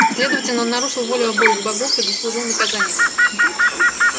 следовательно он нарушил волю обоих богов и заслужил наказание